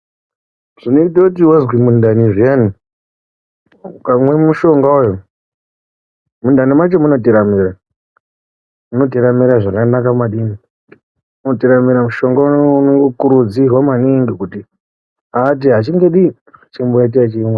Zvinondoti wazwe mundani zviyani ukamwe mushonga uwu, mundani macho munoteramira, munoteramira zvakanaka maningi, munoteramira. Mushonga uno unokurudzirwa maningi kuti aate achingodini achingo.....